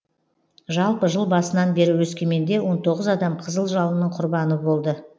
жалпы жыл басынан бері өскеменде он тоғыз адам қызыл жалынның құрбаны болды